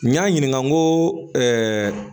N y'a ɲininka n ko